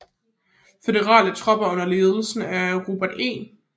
Føderale tropper under ledelse af Robert E